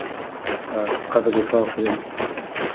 ыыы қазір де сабақ бермін